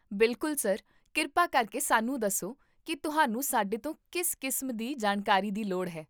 ਬਿਲਕੁਲ, ਸਰ, ਕਿਰਪਾ ਕਰਕੇ ਸਾਨੂੰ ਦੱਸੋ ਕਿ ਤੁਹਾਨੂੰ ਸਾਡੇ ਤੋਂ ਕਿਸ ਕਿਸਮ ਦੀ ਜਾਣਕਾਰੀ ਦੀ ਲੋੜ ਹੈ